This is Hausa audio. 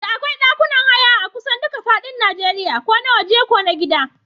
Da akwai ɗakunan haya akusan duka fadin Najeriya ko na waje ko na gida.